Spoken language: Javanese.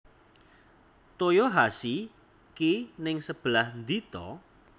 Toyohashi ki ning sebelah ndi to?